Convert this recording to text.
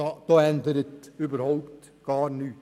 Daran ändert sich überhaupt nichts.